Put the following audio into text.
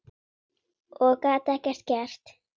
Og gat ekkert gert.